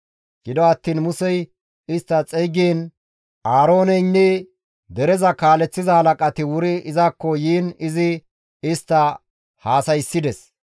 Gido attiin Musey istta xeygiin Aarooneynne dereza kaaleththiza halaqati wuri izakko yiin izi istta haasayssides.